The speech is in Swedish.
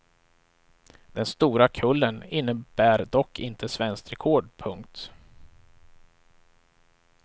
Den stora kullen innebär dock inte svenskt rekord. punkt